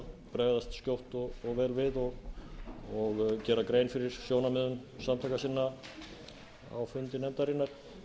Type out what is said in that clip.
bregðast skjótt og vel við og gera grein fyrir sjónarmiðum samtaka sinna á fundi nefndarinnar